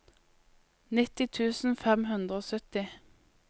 nitti tusen fem hundre og sytti